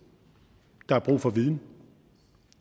der er brug for viden og